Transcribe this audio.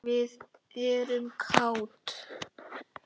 Við erum kát.